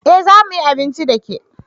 Eh za mu yi abinci da ke